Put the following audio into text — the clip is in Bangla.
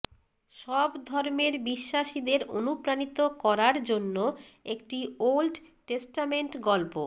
সব ধর্মের বিশ্বাসীদের অনুপ্রাণিত করার জন্য একটি ওল্ড টেস্টামেন্ট গল্প